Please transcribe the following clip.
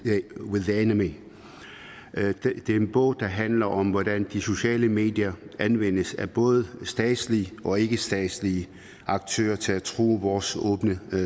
the enemy det er en bog der handler om hvordan de sociale medier anvendes af både statslige og ikkestatslige aktører til at true vores åbne